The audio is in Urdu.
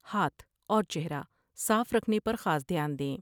ہاتھ اور چہرہ صاف رکھنے پر خاص دھیان دیں ۔